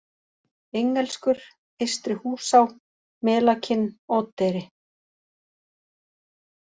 Engelskur, Eystri-Húsá, Melakinn, Oddeyri